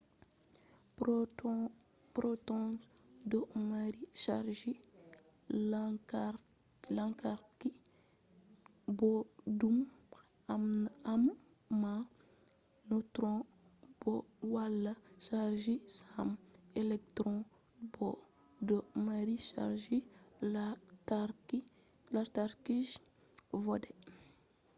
protons do mari chargi lantarki boddum amma neutrons bo wala chargi sam. electrons bo do mari chargi lantarki je vodai